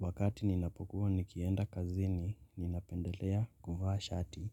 Wakati ninapokuwa nikienda kazini ninapendelea kuvaa shati